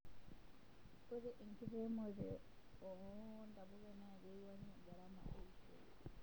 ore enkiremore oo ntapuka na kewaingie gharama eishoi